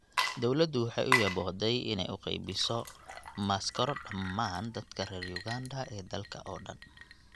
Dawladdu waxay u yaboohday inay u qaybiso maaskaro dhammaan dadka reer Uganda ee dalka oo dhan.